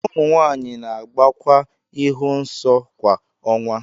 ụmụ nwanyị na-agbakwa ịhụ nsọ kwa ọnwa